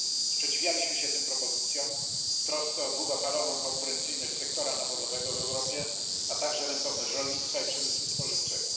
Sprzeciwialiśmy się tym propozycjom w trosce o długofalową konkurencyjność sektora nawozowego w Europie, a także rentowność rolnictwa i przemysłu spożywczego.